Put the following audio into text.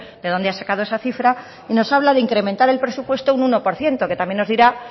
de dónde ha sacado esa cifra y nos habla de incrementar el presupuesto un uno por ciento que también nos dirá